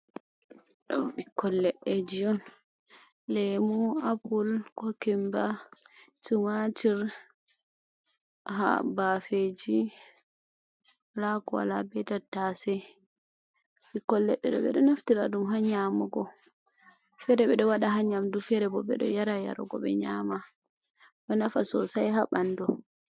Ɗum ɓikkoi leɗɗe ji on lemu, apple, kokumba, timatir, ha bafeji, wala ko wala be tatase, ɓikkoi leɗɗe ɗo ɓeɗo naftira ɗum ha nyamugo, fere ɓeɗo waɗa ha nyamdu, fere bo ɓe ɗo yara yarugo, ɓe nyama ɗo nafa sosai ha ɓanɗu.